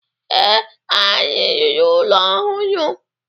Ee, anyị rụrụ ụlọ ọhụrụ?